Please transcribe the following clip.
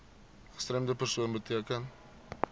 gestremde persoon beteken